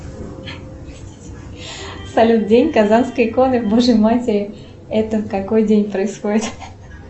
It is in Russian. салют день казанской иконы божьей матери это в какой день происходит